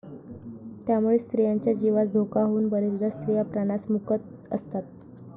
त्यामुळे स्त्रियांच्या जीवास धोका होऊन बरेचदा स्त्रिया प्राणास मुकत असतात.